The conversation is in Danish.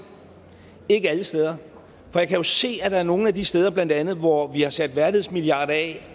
ikke alle steder for jeg kan jo se at nogle af de steder blandt andet hvor vi har sat værdighedsmilliard af